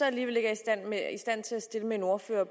alligevel ikke i stand til at stille med en ordfører